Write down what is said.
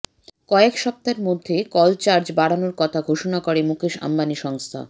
কয়েক সপ্তাহের মধ্যে কল চার্জ বাড়ানোর কথা ঘোষণা করে মুকেশ অম্বানী সংস্থা